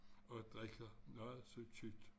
Og drikker noget så tykt